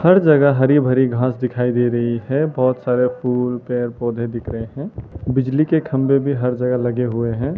हर जगह हरी भरी घास दिखाई दे रही है बहोत सारे फूल पेड़ पौधे दिख रहे हैं बिजली के खंभे भी हर जगह लगे हुए हैं।